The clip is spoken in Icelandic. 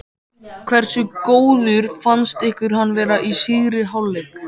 Hversu góður fannst ykkur hann vera í síðari hálfleik?